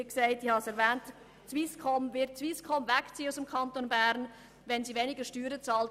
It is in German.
Wird beispielsweise die Swisscom aus dem Kanton Bern wegziehen, wenn sie etwas mehr Steuern bezahlt?